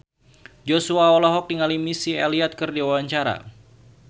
Joshua olohok ningali Missy Elliott keur diwawancara